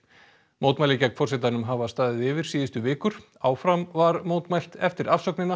mótmæli gegn forsetanum hafa staðið yfir síðustu vikur áfram var mótmælt eftir